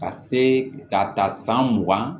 Ka se ka ta san mugan